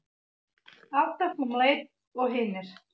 Alltaf um leið og hinir.